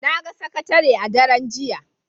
Na ga sakatare a daren jiya